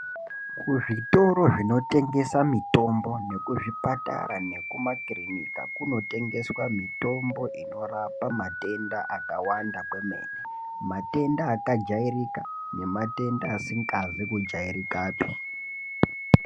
Kuzvitoro zvinotengesa mitombo nekuzvipatara nekumakirinika kunotengeswa mitombo inorapa matenda akawanda kwemene matenda akajairika nematenda asizi kujairikapi.